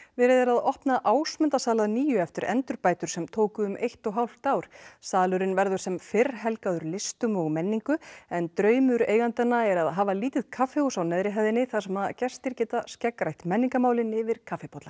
verið er að opna Ásmundarsal að nýju eftir endurbætur sem tóku um eitt og hálft ár salurinn verður sem fyrr helgaður listum og menningu en draumur eigendanna er að hafa lítið kaffihús á neðri hæðinni þar sem gestir geti skeggrætt menningarmál yfir kaffibolla